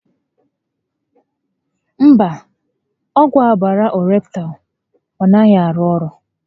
Mba, ọgwụ ọbàrà Ọreptal a naghị arụ orụ